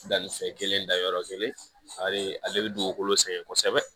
Dannifɛn kelen dayɔrɔ kelen a bɛ ale bɛ dugukolo sɛgɛn kosɛbɛ